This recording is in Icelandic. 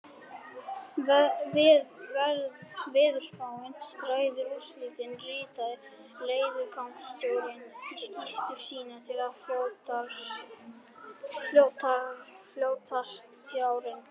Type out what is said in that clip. Veðurspáin ræður úrslitum, ritaði leiðangursstjórinn í skýrslu sína til flotastjórnarinnar.